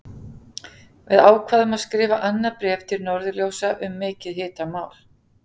Við ákváðum að skrifa annað bréf til Norðurljósa um mikið hitamál!